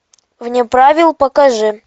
вне правил покажи